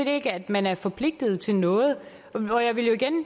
ikke at man er forpligtet til noget